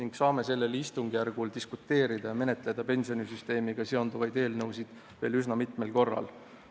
Me saame sellel istungjärgul pensionisüsteemiga seonduvaid eelnõusid menetledes diskuteerida veel üsna mitmel korral.